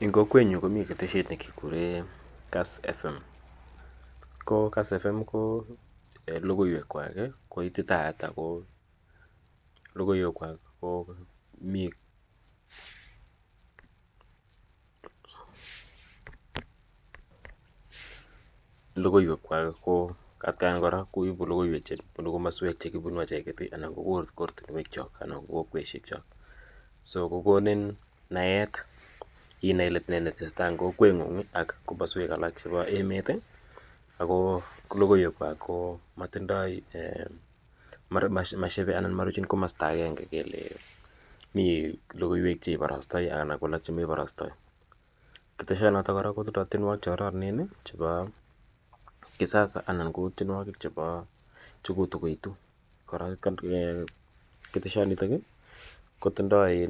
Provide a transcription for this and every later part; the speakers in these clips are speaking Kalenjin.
Eng' kokwenyun komi keteshet ne kekure Kassfm. Ko Kassfm ko logoiwekwak ko ititaat ako logoiwekwak ko atian korankoipu logoiwek che punu komaswek che kipunu acheket anan ko kortinwekchok anan ko koweshekchok. So kokonin naet inai ile ne ne tese tai en kokwenying' ak komaswek alak chepo emet. Ako logoiwekwak komatindai ana mashepe anan komaruchin komasta agenge kele mi logoiwek che iparastai anan ko alak che meparastai. Keteshanotok kora kotindai tienwogik che kararanen chepa kisasa ana ko tienwogik che ko tuko itu. Korok keteshanitok kotindai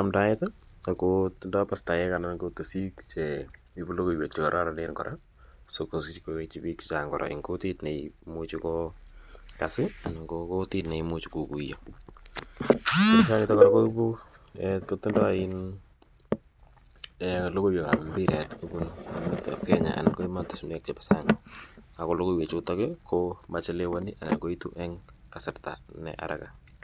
amdaet ako tindai pastaek anan ko tisik che ipu logoiwek che kararanen si kopit koitchi piik che chang' eng' kutit ne imuchi ko kass anan ko kutit ne imuchi kokuya. Notok kora kotindai logoiwek ap mbiret kopun emetap Kenya anan ko ematunwek chepa sang'. Ako logoiwechutok ko machelewani anan koitu eng' kasarta ne araka.